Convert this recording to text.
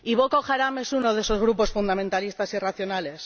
Y Boko Haram es uno de esos grupos fundamentalistas irracionales.